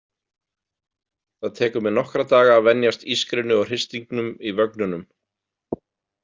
Það tekur mig nokkra daga að venjast ískrinu og hristingnum í vögnunum.